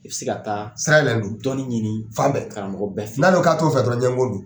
I bɛ se ka taa don dɔɔnin ɲini, fan bɛɛ, karamɔgɔ bɛɛ fɛ, n'ale k'a t'o fɛ dɔrɔn ɲɔgɔnko don.